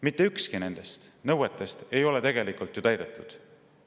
Mitte ükski nendest nõuetest ei ole tegelikult ju täidetud.